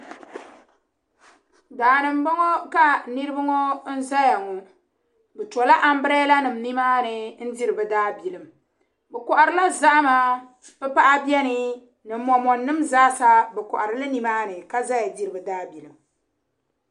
Daa ni m-bɔŋɔ ka niriba ŋɔ zaya ŋɔ. Bɛ tɔla ambirɛlanima nimaani n-diri bɛ daabilim. Bɛ kɔhirila zahima pipaɣa beni ni mɔmɔninima zaasa bɛ kɔhiri li nimaani ka zaya diri bɛ daabilim.